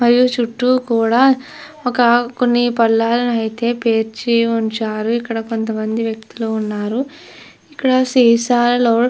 హ మరియు చుట్టూ కూడా ఒక కొన్ని పల్లాలను అయితే పేర్చి ఉంచారు ఇక్కడ కొంత మంది వ్యక్తులు ఉన్నారు ఇక్కడ --